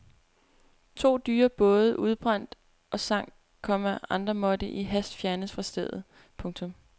To dyre både udbrændte og sank, komma andre måtte i hast fjernes fra stedet. punktum